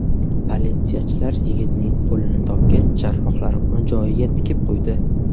Politsiyachilar yigitning qo‘lini topgach, jarrohlar uni joyiga tikib qo‘ydi.